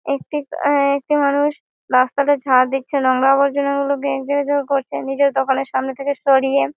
একটি আ একটি মানুষ রাস্তাটা ঝাঁট দিচ্ছে নোংরা আবর্জনাগুলো করছে নিজের দোকানের সামনে দিয়ে সরিয়ে--